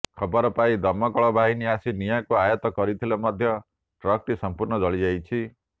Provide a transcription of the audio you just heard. ଖବର ପାଇ ଦମକଳ ବାହିନୀ ଆସି ନିଆଁକୁ ଆୟତ୍ତ କରିଥିଲେ ମଧ୍ୟ ଟ୍ରକଟି ସମ୍ପୂର୍ଣ୍ଣ ଜଳିଯାଇଛି